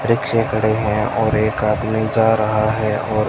वृक्ष खड़े हैं और एक आदमी जा रहा है और--